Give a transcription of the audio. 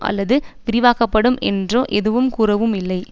அல்லது விரிவாக்கப்படும் என்றோ எதுவும் கூறவும் இல்லை